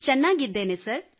ಚೆನ್ನಾಗಿದ್ದೇನೆ sir fine sir